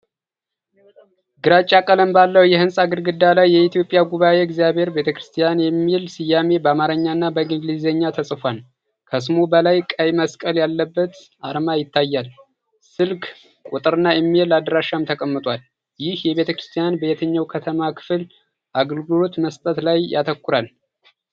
ግራጫ ቀለም ባለው የህንጻ ግድግዳ ላይ፣ "የኢትዮጵያ ጉባአ እግዚአብሔር ቤተክርስቲያን" የሚል ስያሜ በአማርኛና በእንግሊዝኛ ተጽፏል። ከስሙ በላይ ቀይ መስቀል ያለበት አርማ ይታያል፤ ስልክ ቁጥርና ኢሜይል አድራሻም ተቀምጧል። ይህ ቤተክርስቲያን በየትኛው የከተማዋ ክፍል አገልግሎት መስጠት ላይ ያተኩራል?